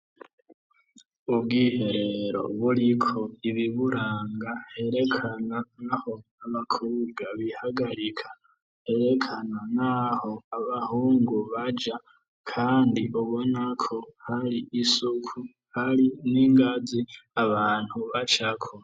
Ubwiherero buriko ibiburanga herekana n'aho abakobwa bihagarika herekana n'aho abahungu baja kandi ubona ko hari isuku hari n'ingazi abantu bacako.